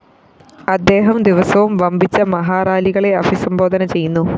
അദ്ദേഹം ദിവസവും വമ്പിച്ച മഹാറാലികളെ അഭിസംബോധന ചെയ്യുന്നു